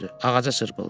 ağaca çırpıldı.